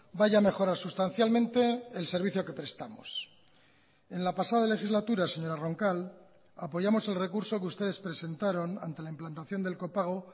vaya a mejorar sustancialmente el servicio que prestamos en la pasada legislatura señora roncal apoyamos el recurso que ustedes presentaron ante la implantación del copago